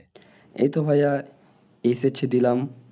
এই তো HSC দিলাম।